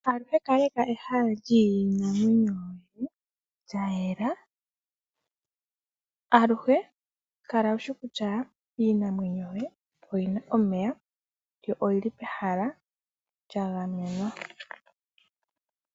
Aluhe kaleka ehala lyiinamwenyo yoye lyayela. Aluhe Kala ushi kutya iinamwenyo yoye oyina omeya yo oyili pehala lya gamenwa.